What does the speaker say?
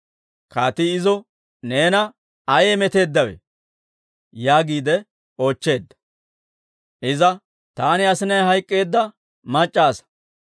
Kaatii izo, «Neena ayee meteeddawe?» yaagiide oochcheedda. Iza, «Taani asinay hayk'k'eedda mac'c'a asaa.